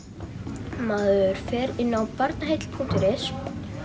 maður fer inn á Barnaheill punktur is